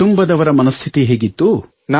ಕುಟುಂಬದವರ ಮನಸ್ಥಿತಿ ಹೇಗಿತ್ತು